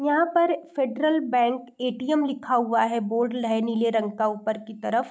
यहाँ पर Federal Bank ATM लिखा हुआ है बोर्ड लेनी नीले रंग का ऊपर की तरफ --